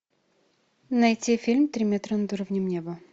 найти фильм три метра над уровнем неба